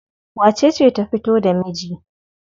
Wacece ta fito da miji?